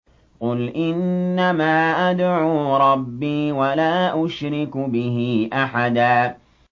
قُلْ إِنَّمَا أَدْعُو رَبِّي وَلَا أُشْرِكُ بِهِ أَحَدًا